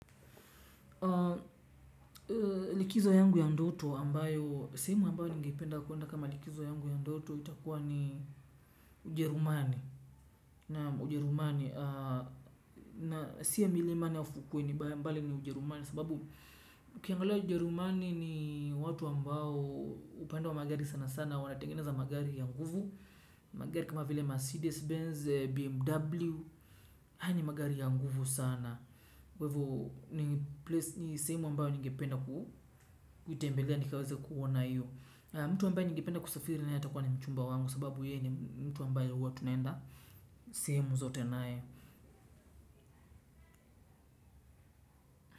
Likizo yangu ya ndoto ambayo sehemu ambayo nigependa kuenda kama likizo yangu ya ndoto itakuwa ni ujerumani na ujerumani na siya milimani ufukuwe ni mbali ni ujerumani sababu ukiangalia ujerumani ni watu ambao upande wa magari sana sana wanatengeneza magari ya nguvu magari kama vile Mercedes-Benz, BMW haya ni magari ya nguvu sana kwa hivo ni sehemu ambayo ninge penda kutembelea nikaweze kuona hiyo mtu ambaye ningependa kusafiri naye atakuwa ni mchumba wangu kwa sababu ye ni mtu ambaye huwa tunaenda sehemu zote naye.